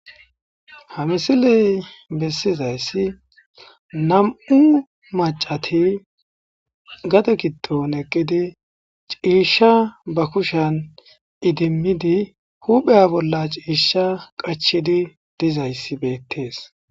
Hamisiley bessizayssi nam'u macati gade giddon eqqidi ciishsha ba kushan idimmidi hupheya bolla ciisha qachidi dizayssi beettees.